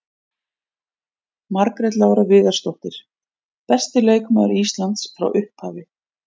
Margrét Lára Viðarsdóttir- Besti leikmaður Íslands frá upphafi.